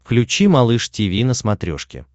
включи малыш тиви на смотрешке